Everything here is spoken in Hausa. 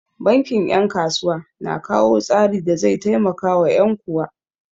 Bankin 'yan kasuwa na kawo tsari da zai taimakawa 'yan kuwa.